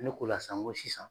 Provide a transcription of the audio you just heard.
Ne k'o la sisan n ko sisan.